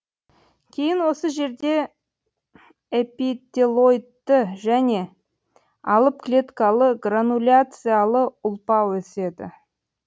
кейін осы жерде эпителоидты және алып клеткалы грануляциялы ұлпа өседі